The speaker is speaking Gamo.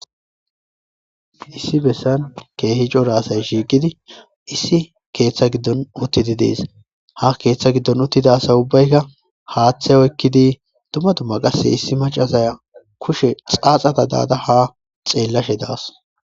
Issi bessan keehi cora asay shiiqidi issi keeththe giddon kutoti deetes ha kutoti deetes iza giddon uttida asay haaththe oykidi deetes.